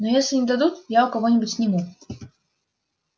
но если не дадут я у кого нибудь сниму